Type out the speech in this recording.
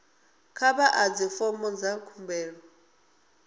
kha vha ḓadze fomo dza khumbelo